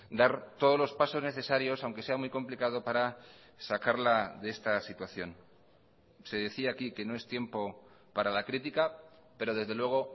dar todos los pasos necesarios aunque sea muy complicado para sacarla de esta situación se decía aquí que no es tiempo para la crítica pero desde luego